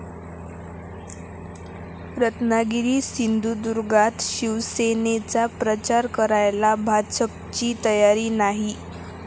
रत्नागिरी सिंधुदुर्गात शिवसेनेचा प्रचार करायला भाजपची तयारी नाही